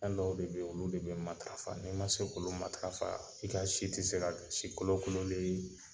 Fɛn dɔw de be yen olu de be matafa nin ma se k'olu matafa i ka si tɛ se ka kɛ si kolokololen ye.